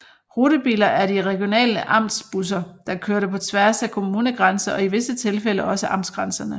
Rutebiler var de regionale Amts busser der kørte på tværs at kommunegrænser og i visse tilfælde også amtsgrænserne